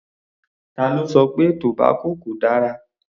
Ta ló sọ pé tobacco kò dára?